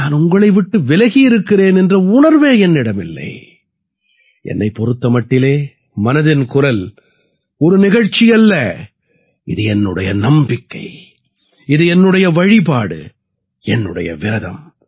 நான் உங்களை விட்டு விலகி இருக்கிறேன் என்ற உணர்வே என்னிடம் இல்லை என்னைப் பொறுத்த மட்டிலே மனதின் குரல் ஒரு நிகழ்ச்சி அல்ல இது என்னுடைய நம்பிக்கை இது என்னுடைய வழிபாடு என்னுடைய விரதம்